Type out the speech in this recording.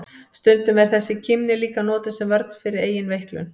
Stundum er þessi kímni líka notuð sem vörn fyrir eigin veiklun.